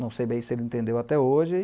Não sei bem se ele entendeu até hoje.